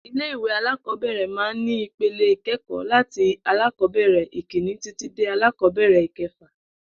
Ilé ìwé alákò̩ó̩bè̩rè̩ máa ń ní ipele ìké̩kò̩ó̩ láti alákò̩ó̩bè̩rè̩ ìkíni títí dé alákò̩ó̩bè̩rè̩ ìke̩fà